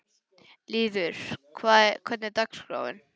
Lýður, hvernig er dagskráin?